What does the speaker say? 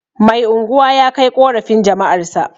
Mai unguwa ya kai ƙorafin jama'arsa